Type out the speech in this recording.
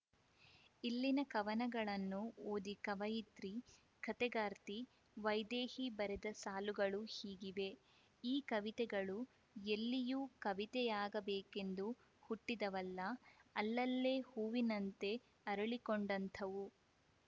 ಇಲ್ಲಿನ ಕವನಗಳನ್ನು ಓದಿ ಕವಯತ್ರಿ ಕಥೆಗಾರ್ತಿ ವೈದೇಹಿ ಬರೆದ ಸಾಲುಗಳು ಹೀಗಿವೆ ಈ ಕವಿತೆಗಳು ಎಲ್ಲಿಯೂ ಕವಿತೆಯಾಗಬೇಕೆಂದು ಹುಟ್ಟಿದವಲ್ಲ ಅಲ್ಲಲ್ಲೇ ಹೂವಿನಂತೆ ಅರಳಿಕೊಂಡಂಥವು